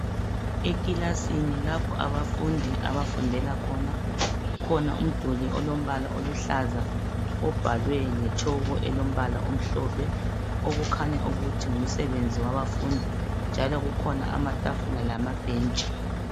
Eclassini lapho abafundi abafundela khona abafundi kukhona olombala oluhlaza obhalwe ngetshoko elombala omhlophe okukhanya ukuthi ngumsebenzi wabafundi kukhona amatafula lamabhentshi